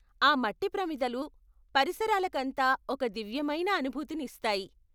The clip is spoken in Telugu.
ఆ మట్టి ప్రమిదలు పరిసరాలకంతా ఒక దివ్యమైన అనుభూతిని ఇస్తాయి.